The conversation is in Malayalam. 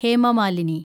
ഹേമ മാലിനി